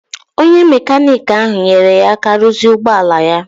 Onye mekaniki ahụ nyeere ya aka ruzie ụgbọala ya